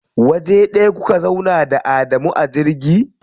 Waje ɗaya kuka zauna da Adamu a jirgi?